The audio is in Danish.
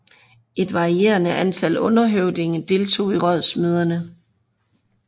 Et varierende antal underhøvdinge deltog i rådsmøderne